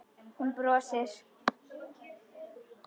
Hún brosir.